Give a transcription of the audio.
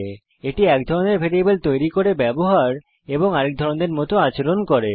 typecasting এক ধরনের variable তৈরী করতে ব্যবহৃত হয় এবং আরেক ধরনের মত আচরণ করে